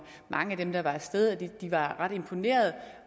mange af dem der var af sted at de var ret imponerede